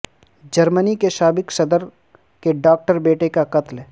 جرمنی کے سابق صدر کے ڈاکٹر بیٹے کا قتل